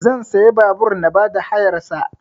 Zan siya babur na ba da hayar sa